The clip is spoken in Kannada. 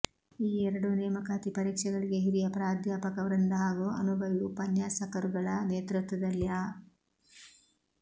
ಈ ಎರಡೂ ನೇಮಕಾತಿ ಪರೀಕ್ಷೆಗಳಿಗೆ ಹಿರಿಯ ಪ್ರಾಧ್ಯಾಪಕ ವೃಂದ ಹಾಗೂ ಅನುಭವೀ ಉಪನ್ಯಾಸಕರುಗಳ ನೇತ್ರತ್ವದಲ್ಲಿ ಅ